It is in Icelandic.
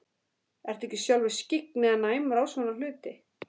Ertu ekki sjálfur skyggn eða næmur á svona hluti?